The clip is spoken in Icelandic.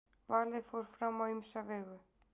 valið fór fram á ýmsa vegu